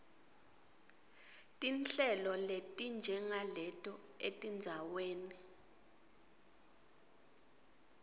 tinhlelo letinjengaleto etindzaweni